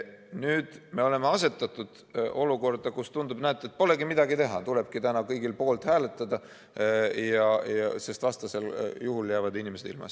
Nüüd me oleme asetatud olukorda, kus tundub, et näete, polegi midagi teha, tulebki täna kõigil poolt hääletada, sest vastasel juhul jäävad inimesed ilma.